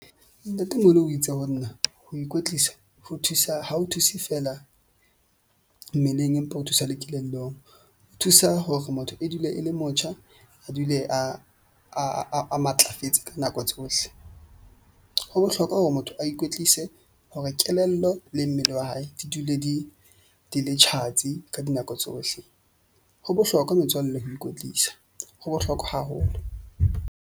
Ntatemoholo o itse ho nna ho ikwetlisa ho thusa ha ho thuse fela, mmeleng empa ho thusa le kelellong. Thusa hore motho e dule e le motjha, a dule a matlafetse ka nako tsohle. Ho bohlokwa hore motho a ikwetlise hore kelello le mmele wa hae di dule di le tjhatsi ka dinako tsohle. Ho bohlokwa metswalle ho ikwetlisa ho bohlokwa haholo.